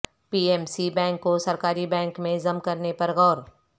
پی M C bank کو سرکاری bank میں ضم کرنے پر غور